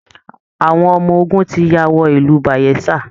Àwọn ọmọ ogun ti ya wọ ìlú Bayelsa